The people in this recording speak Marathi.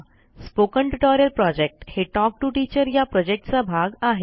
स्पोकन ट्युटोरियल प्रॉजेक्ट हे टॉक टू टीचर या प्रॉजेक्टचा भाग आहे